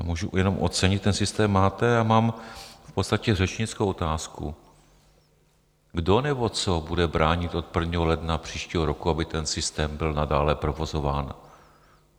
Já můžu jenom ocenit, ten systém máte, a mám v podstatě řečnickou otázku: Kdo nebo co bude bránit od 1. ledna příštího roku, aby ten systém byl nadále provozován?